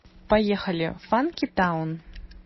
поехали фанки таун